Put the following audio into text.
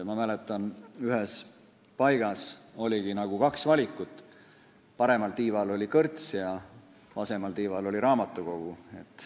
Ma mäletan, et ühes paigas oligi kaks valikut: paremal tiival oli kõrts ja vasemal tiival oli raamatukogu.